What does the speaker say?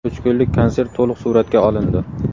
Uch kunlik konsert to‘liq suratga olindi.